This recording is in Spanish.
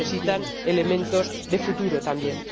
Necesitan elementos de futuro también.